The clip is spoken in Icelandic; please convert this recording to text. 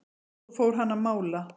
Svo fór hann að mála.